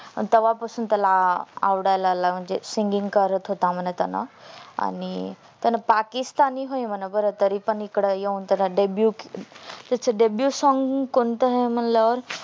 पण तेव्हा पासून त्याला आवडायला लागल म्हणजे singing करत होता म्हण त्याला आणि त्यांनी पाकिस्तानी व्हय म्हण बर तरी पण इकडे येऊन त्याला debyute त्याच debyute song कोणत आहे म्हटल्या वर